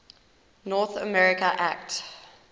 north america act